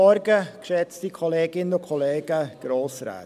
Als Nächstes für die BDP: Jakob Etter.